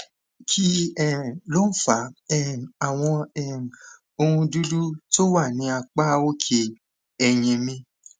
kí um ló ń fa um àwọn um ohun dúdú tó wà ní apá òkè eyín mi